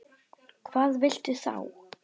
Hvað viltu þá?